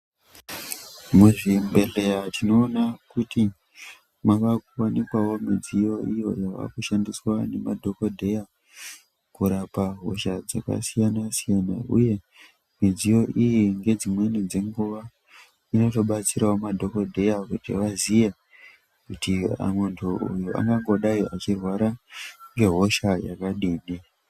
Muzvibhedhera tinoona kuti mavakuwanikwawo midziyo iyo yavakushandiswa nemadhokodheya kurapa hosha dzakasiyana-siyana uye midziyo iyi ngedzimweni dzenguwa inotobatsirawo madhokodheya kuti vaziye kuti muntu uyu angangodai achirwara nehosha yakadini.